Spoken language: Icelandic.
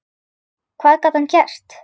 Hvað gat hann gert?